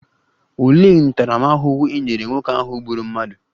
Olee ntaramahụhụ e nyere nwoke ahụ gburu mmadụ?